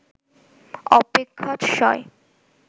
অপেক্ষা সয়